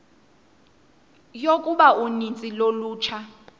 yokuba uninzi lolutsha